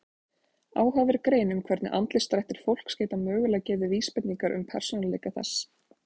Áhugaverð grein um hvernig andlitsdrættir fólks geta mögulega gefið vísbendingar um persónuleika þess.